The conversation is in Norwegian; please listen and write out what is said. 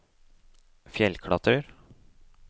fjellklatrer